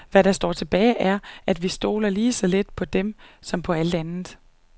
Hvad der står tilbage er, at vi stoler lige så lidt på dem som på alt andet.